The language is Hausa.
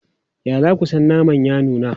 Ya za ku san naman ya nuna?